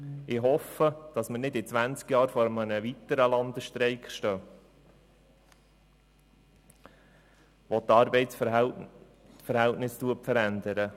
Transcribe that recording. Ich hoffe, dass wir nicht in zwanzig Jahren vor einem weiteren Landesstreik stehen, der die Arbeitsverhältnisse verändern wird.